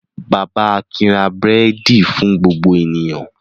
Bàbá Akin ra búrẹ́dì fún gbogbo ènìyàn.